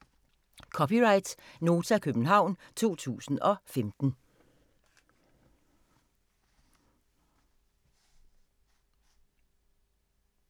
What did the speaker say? (c) Nota, København 2015